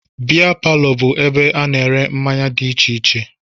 Bịa palọ bụ ebe ana ere mmanya dị iche iche.